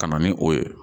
Ka na ni o ye